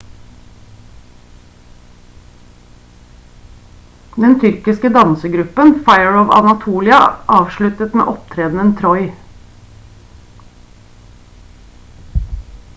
den tyrkisk dansegruppen fire of anatolia avsluttet med opptredenen «troy»